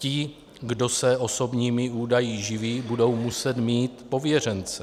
Ti, kdo se osobními údaji živí, budou muset mít pověřence.